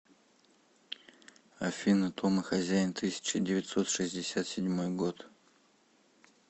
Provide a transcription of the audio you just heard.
афина том и хозяин тысяча девятьсот шестьдесят седьмой год